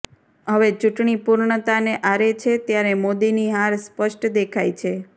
હવે ચૂંટણી પૂર્ણતાને આરે છે ત્યારે મોદીની હાર સ્પષ્ટ દેખાય છે